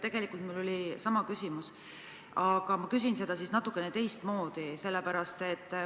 Tegelikult oli mul sama küsimus, aga ma küsin siis natukene teistmoodi.